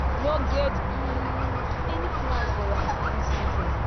no get um any plan for am dis season.